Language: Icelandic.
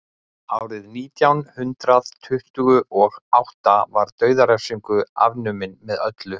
árið nítján hundrað tuttugu og átta var dauðarefsing afnumin með öllu